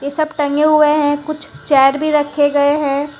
सब टंगे हुए है कुछ चेयर भी रखे गए हैं।